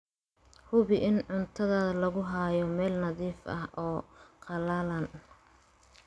Hubi in cuntada lagu hayo meel nadiif ah oo qallalan.